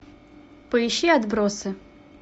поищи отбросы